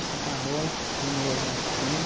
Assim, com a bola, quando ele era mais pequeno.